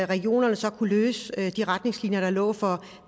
regionerne så kunne lave de retningslinjer der lå for